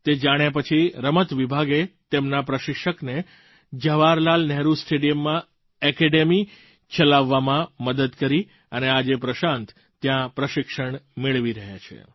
તે જાણ્યા પછી રમત વિભાગે તેમના પ્રશિક્ષકને જવાહરલાલ નહેરુ સ્ટેડિયમમાં એકેડેમી ચલાવવામાં મદદ કરી અને આજે પ્રશાંત ત્યાં પ્રશિક્ષણ મેળવી રહ્યા છે